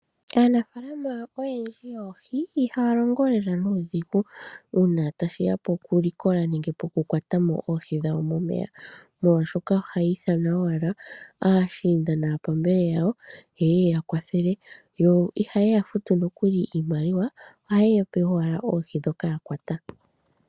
Aanafaalama oyendji yoohi ihaya longo lela nuudhigu uuna tashiya pokulikola nenge pokukwata mo oohi dhawo momeya molwashoka ohaya ithana owala aashiinda naapambele yawo yeye yakwathele yo ihayeya futu nokuli iimaliwa, ohaye yape owala oohi dhoka yakwata.